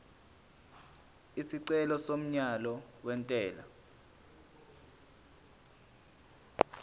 isicelo somyalo wentela